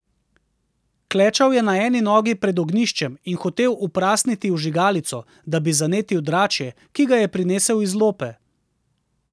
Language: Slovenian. Klečal je na eni nogi pred ognjiščem in hotel uprasniti vžigalico, da bi zanetil dračje, ki ga je prinesel iz lope.